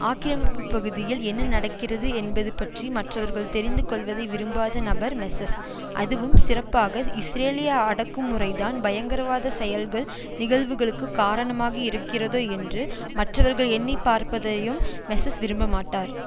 ஆக்கிரமிப்பு பகுதியில் என்ன நடக்கிறது என்பது பற்றி மற்றவர்கள் தெரிந்து கொள்வதை விரும்பாத நபர் மெஸல் அதுவும் சிறப்பாக இஸ்ரேலிய அடக்குமுறை தான் பயங்கரவாதச் செயல்கள் நிகழ்வுகளுக்கு காரணமாக இருக்கிறதோ என்று மற்றவர்கள் எண்ணிப்பார்ப்பதையும் மெஸல் விரும்ப மாட்டார்